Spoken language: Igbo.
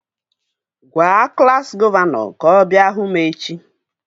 Gwaa klassi gọvanọ ka ọ bịa hụ m echi!